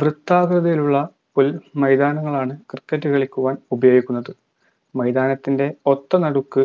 വൃത്താകൃതിയിലുള്ള ഒരു മൈതാനങ്ങളാണ് cricket കളിക്കുവാൻ ഉപയോഗിക്കുന്നത് മൈതാനത്തിന്റെ ഒത്തനടുക്ക്